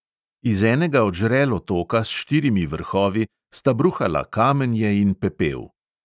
Iz enega od žrel otoka s štirimi vrhovi sta bruhala kamenje in pepel.